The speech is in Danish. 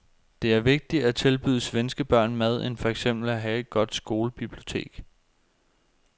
Det er vigtigere at tilbyde svenske børn mad end for eksempel at have et godt skolebibliotek.